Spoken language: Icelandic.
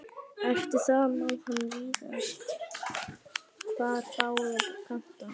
Eftir það sá hann víðast hvar báða kanta.